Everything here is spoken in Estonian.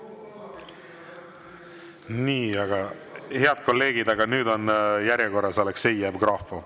Nii, head kolleegid, aga nüüd on järjekorras Aleksei Jevgrafov.